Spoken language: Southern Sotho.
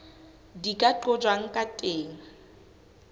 di ka qojwang ka teng